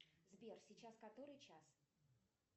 сбер сейчас который час